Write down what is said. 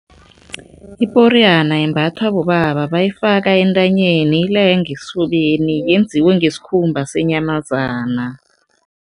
Iporiyana yembathwa bobaba. Bayifaka entanyeni, ilenge esifubeni, yenziwe ngesikhumba senyamazana.